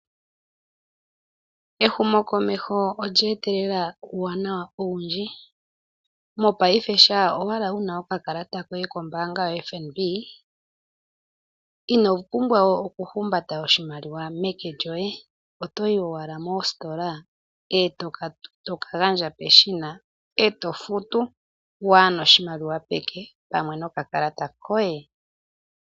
Ehumo komeho olya etelela uuwanawa owundji, mopaife shampa wuna oka kalata koye kombaanga yaFNB ino pumbwa oku humbata oshimaliwa peke lyoye, otoyi owala mositola eto ka gandja peshina eto futu waana oshimaliwa peke pamwe noka kalata koye.